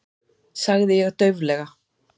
sagði ég dauflega.